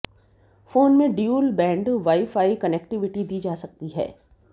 phone में dual band wifi connectivity दी जा सकती है